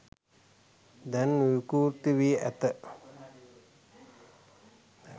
දැන් විවෘත වී ඇත